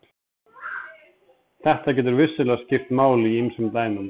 Þetta getur vissulega skipt máli í ýmsum dæmum.